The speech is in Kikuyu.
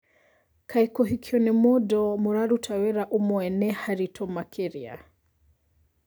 Kaĩ, kũhikio nĩ mũndũ mũraruta wĩra ũmwe nĩ haritũ makĩria?